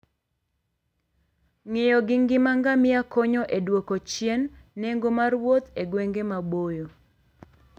Ng'iyo gi ngima ngamia konyo e dwoko chien nengo mar wuoth e gwenge maboyo.